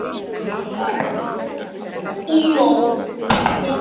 Að taka í útrétta hönd